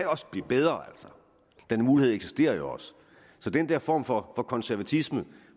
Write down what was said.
også blive bedre den mulighed eksisterer jo også så den der form for konservatisme